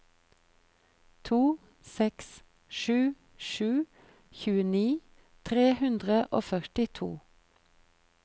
to seks sju sju tjueni tre hundre og førtito